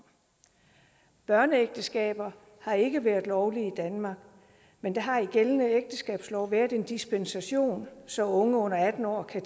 børneægteskaber har ikke været lovlige i danmark men der har i gældende ægteskabslov været en dispensation så unge under atten år har